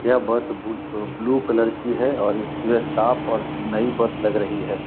यह बस ब- blue colour की है और इसमें साफ और नयी बस लग रही है।